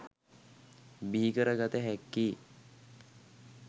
බිහිකර ගත හැක්කේ?